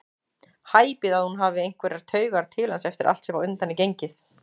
Hæpið að hún hafi einhverjar taugar til hans eftir allt sem á undan er gengið.